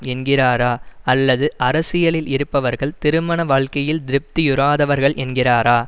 என்கிறாரா அல்லது அரசியலில் இருப்பவர்கள் திருமண வாழ்க்கையில் திருப்தியுறாதவர்கள் என்கிறாரா